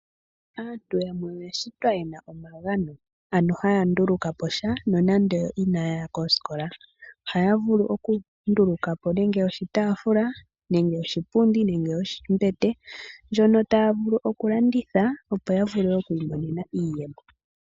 Aantu yamwe oya shitwa yena omagano ano haya ndulukapo sha nonande ina ya ya koskola. Ohaya vulu okunduluka po nenge oshitaafula, nenge oshipundi, nenge ombete ndjono taya vulu okulanditha opo ya vule ikwiimonena iiyemo.